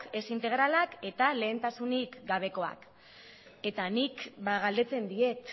ez integralak eta lehentasunik gabekoak eta nik galdetzen diet